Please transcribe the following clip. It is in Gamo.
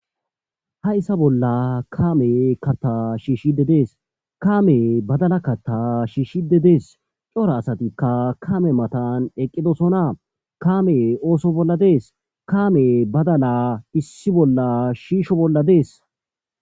ha issa bolla kaame katta shiishide dees kaame badala kata shiishshide dees cora asatikka kame matan eqqidosona kaame ooso bolla dees kaame badala issi bolla shiisho bolla dees